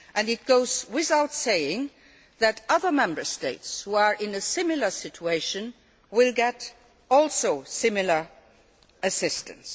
It goes without saying that other Member States which are in a similar situation will also get similar assistance.